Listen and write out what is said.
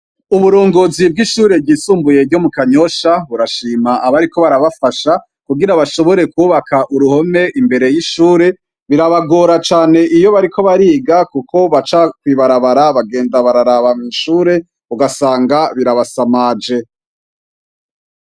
Uburongozi bwishure ryisumbuye ryomu kanyosha burashima abariko barabafasha kugira bashobore kubaka uruhome imbere yishure birabagora cane iyo bariko bariga kuko abaca kwibarabara bagenda bararaba mwishure ugasanga birabasamaje